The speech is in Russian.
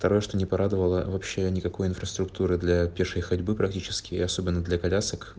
второе что не порадовала вообще никакой инфраструктуры для пешей ходьбы практические особенно для колясок